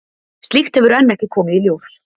Slíkt hefur enn ekki komið í ljós.